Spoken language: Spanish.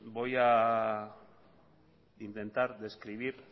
voy a intentar describir